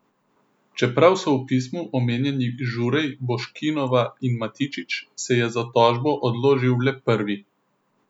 Čeprav so v pismu omenjeni Žurej, Boškinova in Matičič, se je za tožbo odložil le prvi.